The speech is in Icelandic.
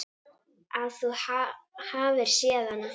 Að þú hafir séð hana?